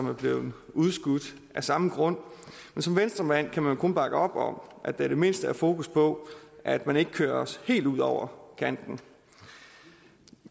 er blevet udskudt af samme grund men som venstremand kan man kun bakke op om at der i det mindste er fokus på at man ikke kører os helt ud over kanten